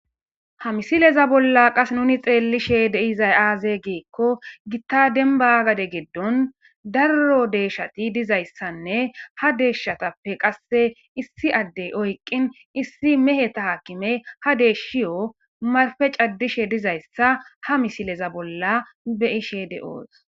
Ha misileza bolla qasse nuni xeellishe de'izay aaze giiko gita dembba gade giddon daro deeshshati dizayssanne ha deeshshatappe qasse issi addey oyqin issi meheta akimey ha deeshiyo marfe caddishe dizayssa ha misileza bolla be'ishe de'oos.